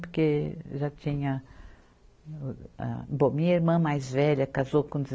Porque já tinha âh, bom, minha irmã mais velha casou com de